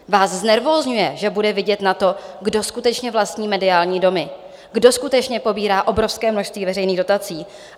Vás znervózňuje, že bude vidět na to, kdo skutečně vlastní mediální domy, kdo skutečně pobírá obrovské množství veřejných dotací.